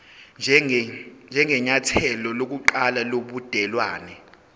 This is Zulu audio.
njengenyathelo lokuqala lobudelwane